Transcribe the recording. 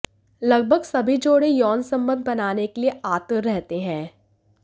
लगभग सभी जोड़े यौन संबंध बनाने के लिए आतुर रहते हैं